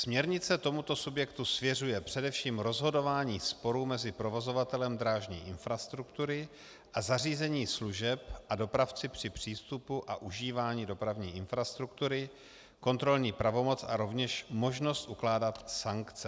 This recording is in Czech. Směrnice tomuto subjektu svěřuje především rozhodování sporů mezi provozovatelem drážní infrastruktury a zařízení služeb a dopravci při přístupu a užívání dopravní infrastruktury, kontrolní pravomoc a rovněž možnost ukládat sankce.